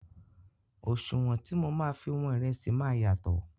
Òṣùwọ̀n tí mọ máa fi wọn ìrẹsì máa yàtọ̀.